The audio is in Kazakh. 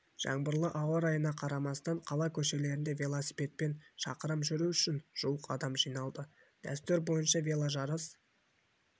жаңбырлы ауа райына қарамастан қала көшелерінде велосипедпен шақырым жүру үшін жуық адам жиналды дәстүр бойынша веложарыс